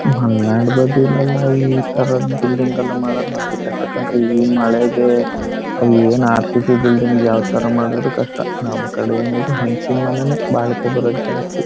ಮಲ್ನಾಡ್ ಬಗ್ಗೆ ಲೆಲ್ಲ ಇತರದ್ ಬಿಲ್ಡಿಂಗ್ ಗಲ್ಲ ಮಾಡೋದ್ದು ಬಾರಿ ಕಷ್ಟ ಕಣ್ರಿ ಇವು ಮಳೆಗೆ ಅವು ಏನ್ ಆರ್ಸಿಸಿ ಬಿಲ್ಡಿಂಗ್ ಯಾವ್ದ್ ತರ ಮಾಡಿದ್ರು ಕಷ್ಟ ನಮ್ ಕಡೆ ಏನ್ ಇದ್ರೂ ಹಂಚಿನ್ ಮನೆನೇ ಬಾಳಿಕೆ ಬರೋದು ಜಾಸ್ತಿ.